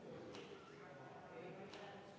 V a h e a e g